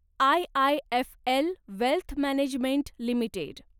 IIFL wealth management limited